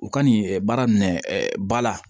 U ka nin baara minɛ ɛ ba la